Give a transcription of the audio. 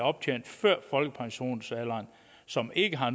optjent før folkepensionsalderen og som ikke har